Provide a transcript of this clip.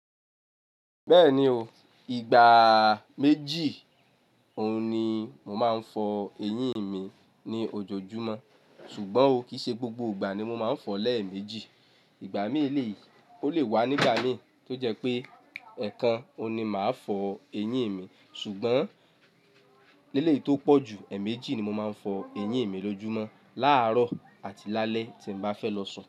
Bẹ́ẹ̀ni o, ìgbà méjì òun ni mo máa ń fọ eyín mi ní ojojúmọ́ ṣùgbọ́n ò kí i ṣe gbogbo ìgbà ni mo máa ń fọ lẹ̀ méjì. Ìgbà mí lè, ó lè wá nígbà mìí tó jẹ́ pé ẹ̀ẹ̀kan òun ni máa fọ eyín mi ṣùgbọ́n léle eyi tó pọ̀ jù ẹ́ẹ̀mẹ́jì ni mo máa ń fọ eyín mi lójúmọ́, láàárọ̀ àti lálẹ́ tí n bá fẹ́ lọ sùn.